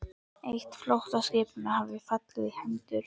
Eitt flóttaskipanna hafði fallið í hendur